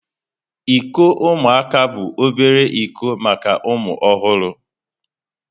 Iko ụmụaka bụ obere iko maka ụmụ ọhụrụ.